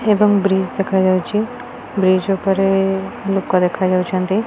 ଏବଂ ବ୍ରିଜ ଦେଖାଯାଉଚି। ବ୍ରିଜ ଉପରେ ଲୋକ ଦେଖାଯାଉଛନ୍ତି।